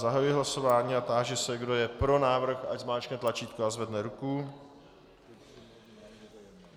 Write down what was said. Zahajuji hlasování a táži se, kdo je pro návrh, ať zmáčkne tlačítko a zvedne ruku.